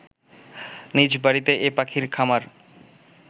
নিজ বাড়িতে এ পাখির খামার